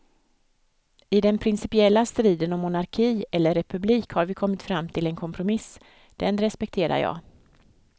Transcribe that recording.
I den principiella striden om monarki eller republik har vi kommit fram till en kompromiss, den respekterar jag.